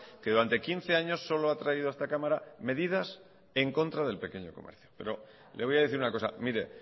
que durante quince años solo ha traído a esta cámara medidas en contra del pequeño comercio pero le voy a decir una cosa mire